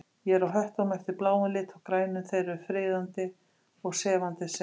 Ég er á höttunum eftir bláum lit og grænum, þeir eru friðandi og sefandi segir